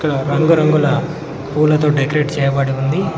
ఇక్కడ రంగురంగుల పూలతో డెకరేట్ చేయబడి ఉంది.